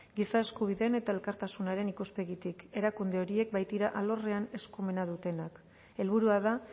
giza eskubideen eta elkartasunaren ikuspegitik erakunde horiek baitira alorrean eskumen dutenak helburua da